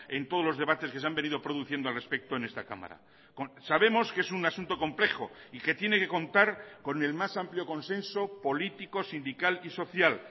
en todos los debates que se han venido produciendo al respecto en esta cámara sabemos que es un asunto complejo y que tiene que contar con el más amplio consenso político sindical y social